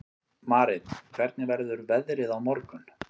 Marit, hvernig verður veðrið á morgun?